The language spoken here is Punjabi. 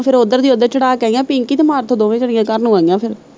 ਫਿਰ ਉੱਧਰ ਦੀ ਓੱਧਰ ਚੜਾ ਕੇ ਆਈਆ, ਪਿੰਕੀ ਤੇ ਮਾਰਥੋਂ ਦੋਵੇਂ ਜਣੀਆਂ ਘਰ ਨੂੰ ਆਈਆ ਫਿਰ।